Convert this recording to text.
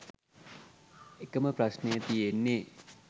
එකම ප්‍රශ්නෙ තියෙන්නෙ